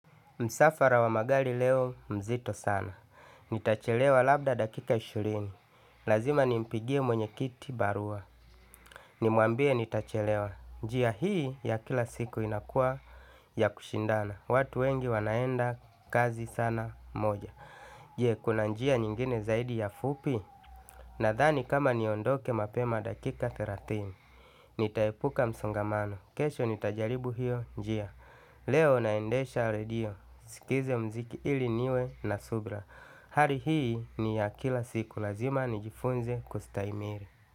Msafara wa magari leo mzito sana. Nitachelewa labda dakika ishirini. Lazima nimpigie mwenyekiti barua. Nimuambie nitachelewa. Njia hii ya kila siku inakuwa ya kushindana. Watu wengi wanaenda kazi sana moja. Je kuna njia nyingine zaidi ya fupi? Nadhani kama niondoke mapema dakika thelathini. Nitaepuka msongamano. Kesho nitajaribu hio njia. Leo naendesha redio nisikize muziki ili niwe na subira. Hali hii ni ya kila siku lazima nijifunze kustahimili.